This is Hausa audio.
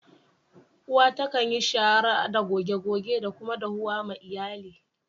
Uwa ta kan yi shara, goge goge da kuma dahuwa ma Iyalli.